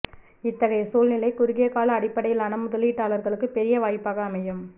இத்தகை சூழ்நிலை குறுகிய கால அடிப்படையிலான முதலீட்டாளர்களுக்குப் பெரிய வாய்ப்பாக அமையும்